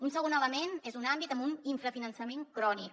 un segon element és un àmbit amb un infrafinançament crònic